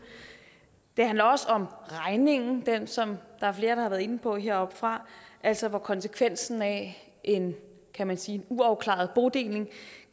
det handler også om regningen som der er flere der har været inde på heroppefra altså at konsekvensen af en kan man sige uafklaret bodeling